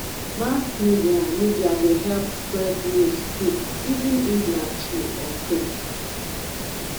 mass media media dey help spread news quick even if na true or fake